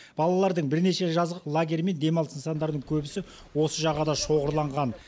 балалардың бірнеше жазғы лагері мен демалыс нысандарының көбісі осы жағада шоғырланған